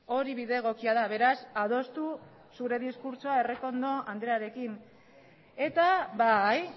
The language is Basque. hori bide egokia da beraz adostu zure diskurtsoa errekondo andrearekin eta bai